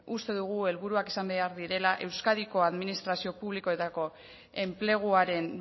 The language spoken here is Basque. uste dugu helburuak izan behar direla euskadiko administrazio publikoetako enpleguaren